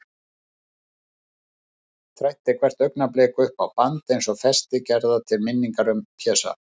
Þræddi hvert augnablik upp á band, eins og festi gerða til minningar um Pésa.